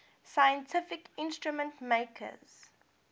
scientific instrument makers